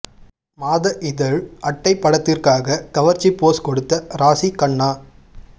மாத இதழ் அட்டை படத்திற்காக கவர்ச்சி போஸ் கொடுத்த ராசி கண்ணா